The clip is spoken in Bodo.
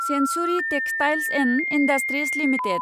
Centauri textiles and industries limited